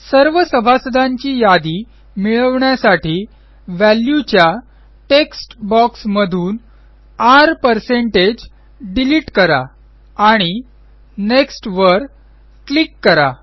सर्व सभासदांची यादी मिळवण्यासाठी Valueच्या टेक्स्ट boxमधून R डिलिट करा आणि नेक्स्ट वर क्लिक करा